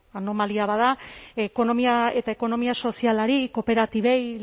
anomalia bat da ekonomia eta ekonomia sozialari kooperatibei